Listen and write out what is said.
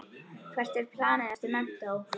Hvert er planið eftir menntó?